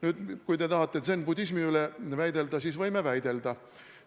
Nüüd, kui te tahate zen-budismi üle väidelda, siis võime väidelda.